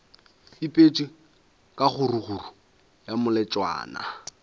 bipetšwe ka kgaruru ya melotšana